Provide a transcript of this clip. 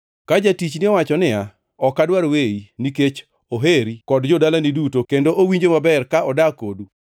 Ka jatichni owacho niya, “Ok adwar weyi,” nikech oheri kod jo-dalani duto kendo owinjo maber ka odak kodu,